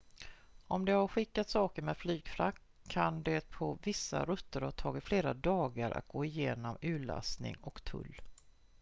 om de har skickat saker med flygfrakt kan det på vissa rutter ha tagit flera dagar att gå igenom urlastning och tull